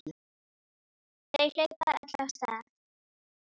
Þau hlaupa öll af stað.